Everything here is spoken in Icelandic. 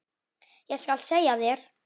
Ég skal segja þér